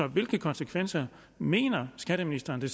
hvilke konsekvenser mener skatteministeren det